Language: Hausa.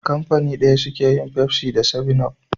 Kafani daya suke yin Pepsi da 7up.